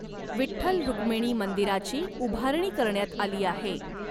विठठ्ल रुक्मिणी मंदिराची उभारणी करण्यात आली आहे.